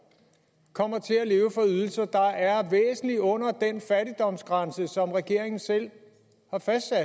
kommer til at leve for ydelser der er væsentlig under den fattigdomsgrænse som regeringen selv har fastsat